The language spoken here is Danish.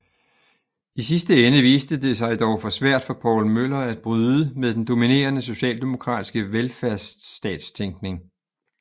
I sidste ende viste det sig dog for svært for Poul Møller at bryde med den dominerende socialdemokratiske velfærdsstatstænkning